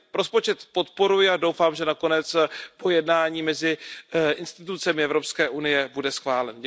Takže rozpočet podporuji a doufám, že nakonec po jednání mezi institucemi Evropské unie bude schválen.